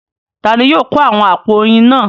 Ta ni yóò kó àwọn àpò oyin náà?